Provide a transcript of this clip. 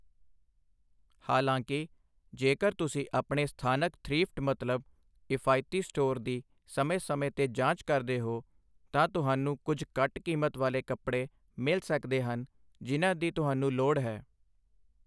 ਹਾਲਾਂਕਿ, ਜੇਕਰ ਤੁਸੀਂ ਆਪਣੇ ਸਥਾਨਕ ਥ੍ਰੀਫਟ ਮਤਲਬ ਇਫ਼ਾਇਤੀ ਸਟੋਰ ਦੀ ਸਮੇਂ ਸਮੇਂ 'ਤੇ ਜਾਂਚ ਕਰਦੇ ਹੋ ਤਾਂ ਤੁਹਾਨੂੰ ਕੁਝ ਘੱਟ ਕੀਮਤ ਵਾਲੀਆਂ ਕੱਪੜੇ ਮਿਲ ਸਕਦੇ ਹਨ ਜਿਨ੍ਹਾਂ ਦੀ ਤੁਹਾਨੂੰ ਲੋੜ ਹੈ।